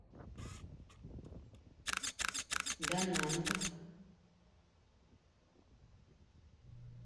дананг